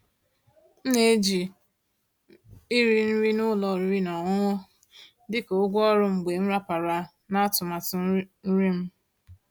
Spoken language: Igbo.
M ná-èjí íri nrí ụ́lọ̀ ọ̀rị́rị́ ná ọ̀ṅụ̀ṅụ̀ dị́ kà ụ̀gwọ́ ọ̀rụ́ mgbe m ràpàrà ná àtụ̀màtụ́ nrí m.